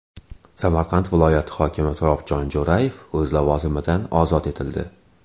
Samarqand viloyati hokimi Turobjon Jo‘rayev o‘z lavozimidan ozod etildi.